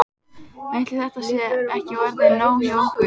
Ætli þetta sé ekki orðið nóg hjá okkur.